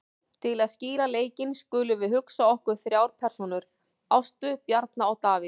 Til að skýra leikinn skulum við hugsa okkur þrjár persónur, Ástu, Bjarna og Davíð.